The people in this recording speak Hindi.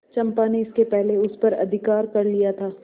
चंपा ने इसके पहले उस पर अधिकार कर लिया था